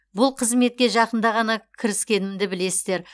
бұл қызметке жақында ғана кіріскенімді білесіздер